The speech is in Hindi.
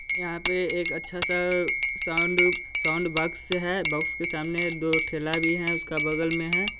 यहाँ पे एक अच्छा सा साउंड साउंड बोक्स है बोक्स के सामने दो ठेला भी है उसका बगल में है।